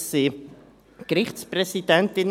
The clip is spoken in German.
Es geht um Gerichtspräsidentinnen.